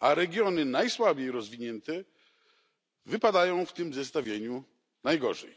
a regiony najsłabiej rozwinięte wypadają w tym zestawieniu najgorzej.